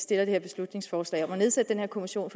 det her beslutningsforslag om at nedsætte den her kommission